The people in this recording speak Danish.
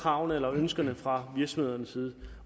kravene eller ønskerne fra virksomhedernes side